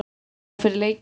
Spá fyrir leikinn?